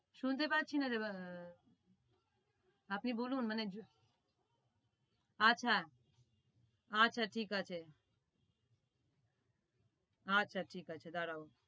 শুনতে পাচ্ছি নারে আপনি বলুন মানে আচ্ছা আচ্ছা ঠিক আছে আচ্ছা ঠিক আছে দাড়াও।